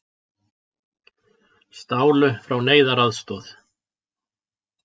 Stálu frá neyðaraðstoð